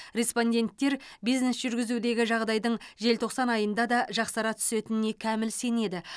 респонденттер бизнес жүргізудегі жағдайдың желтоқсан айында да жақсара түсетініне кәміл сенеді